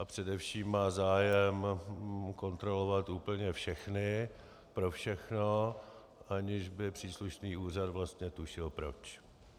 A především má zájem kontrolovat úplně všechny pro všechno, aniž by příslušný úřad vlastně tušil proč.